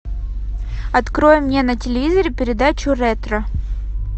открой мне на телевизоре передачу ретро